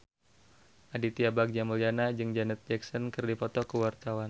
Aditya Bagja Mulyana jeung Janet Jackson keur dipoto ku wartawan